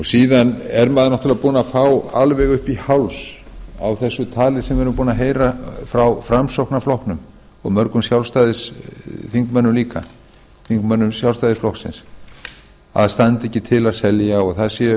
síðan er maður náttúrlega búinn að fá alveg upp í háls af þessu tali sem við erum búin að heyra frá framsóknarflokknum og mörgum þingmönnum sjálfstæðisflokksins líka að það standi ekki til að selja og það sé